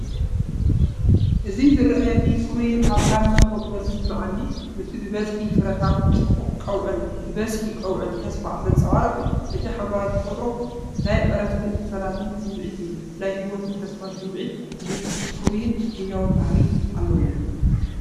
እዚ ዝረኣየኒ ንፍሩይን ሃብታምን ተፈጥሮ ዝስምዓኒ እዩ። እቲ ብብዝሒ ፍረታት፡ ጽቡቕ ቀውዒን ብብዝሒ ቀውዒን ተስፋ ዘንጸባርቕ እዩ። እቲ ሓምላይ ተፈጥሮ ናይ ዕረፍትን ሰላምን ስምዒት ይህብ። ናይ ህይወትን ተስፋን ስምዒት ዝህብ ፍሩይን ህያውን ባህሪ ኣለዎ።